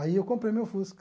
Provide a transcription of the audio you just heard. Aí eu comprei meu Fusca.